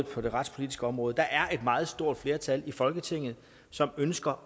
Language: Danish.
på det retspolitiske område et meget stort flertal i folketinget som ønsker